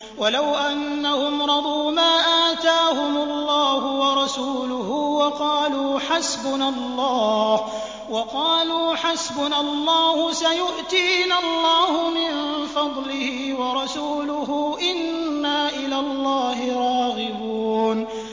وَلَوْ أَنَّهُمْ رَضُوا مَا آتَاهُمُ اللَّهُ وَرَسُولُهُ وَقَالُوا حَسْبُنَا اللَّهُ سَيُؤْتِينَا اللَّهُ مِن فَضْلِهِ وَرَسُولُهُ إِنَّا إِلَى اللَّهِ رَاغِبُونَ